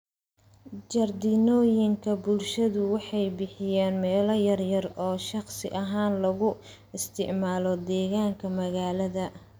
Jardiinooyinka bulshadu waxay bixiyaan meelo yaryar oo shakhsi ahaan loogu isticmaalo deegaanka magaalada.